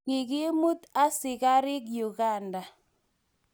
kikimut askarik Uganda.